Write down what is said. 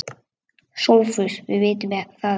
SOPHUS: Við vitum það ekki.